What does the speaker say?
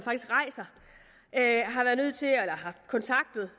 at kontakte